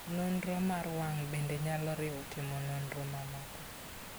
Nonro mar wang' bende nyalo riwo timo nonro mamoko.